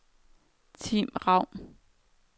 Tim Raun